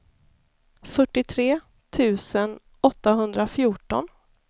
fyrtiotre tusen åttahundrafjorton